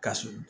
Ka surun